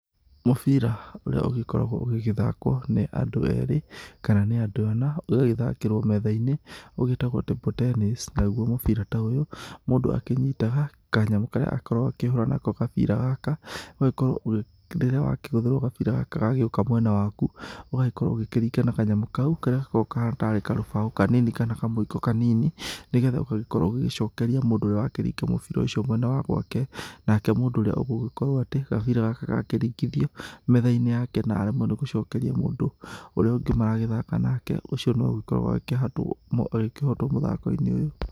Mũbira ũria ũgĩkoragwo ũgĩgĩthakwo nĩ andũ erĩ kana nĩ andũ ana, ũgagĩthakĩrwo metha-inĩ, ũgĩtagwo Table Tennis. Naguo mũbira ta ũyũ mũndũ akĩnyitaga kanyamũ karĩa akoragwo akĩhũra nako gabira gaka, ũgagĩkorwo rĩrĩa wakĩgũthĩrwo gabira gagĩũka mwena waku, ũgagĩkorwo ũgĩkĩringa na kanyamũ kau karĩa gakoragwo kahana taarĩ karũbaũ kanini kana kamũiko kanini, nĩ getha ũgagĩkorwo ũgĩgĩcokeria mũndũ ũrĩa wakĩringa mũbira ũcio mwena wa gwake nake mũndũ ũrĩa ũgũgĩkorwo atĩ gabĩra gaka gakĩringithio metha-inĩ yake na aremwo nĩ gũcokeria mũndũ ũrĩa ũngĩ maragĩthaka nake ũcio nĩwe ũgĩkoragwo agĩkĩhotwo mũthako-inĩ ũyũ.